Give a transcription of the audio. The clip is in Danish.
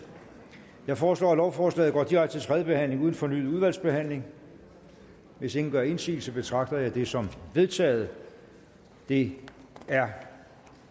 jeg foreslår at lovforslaget går direkte til tredje behandling uden fornyet udvalgsbehandling hvis ingen gør indsigelse betragter jeg det som vedtaget det er